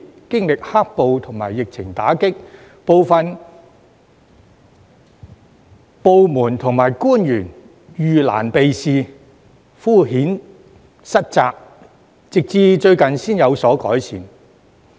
經歷"黑暴"及疫情打擊，部分部門與官員遇難避事，敷衍塞責，直至最近才有所改善。